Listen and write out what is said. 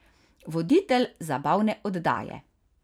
Voditelj zabavne oddaje.